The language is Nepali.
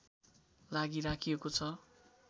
लागि राखिएको छ